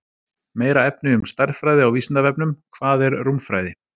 Meira efni um stærðfræði á Vísindavefnum: Hvað er rúmfræði?